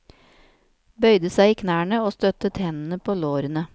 Bøyde seg i knærne og støttet hendene på lårene.